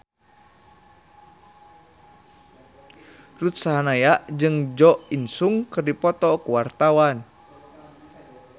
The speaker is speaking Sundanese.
Ruth Sahanaya jeung Jo In Sung keur dipoto ku wartawan